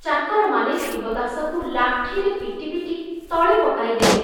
ଚାକରମାନେ ଶିବଦାସକୁ ଲାଠିରେ ପିଟି ପିଟି ତଳେ ପକାଇଦେଲେ।